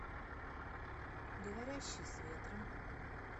говорящий с ветром